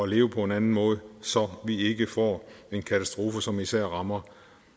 leve på en anden måde så vi ikke får en katastrofe som især rammer